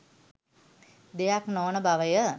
දෙයක් නොවන බවය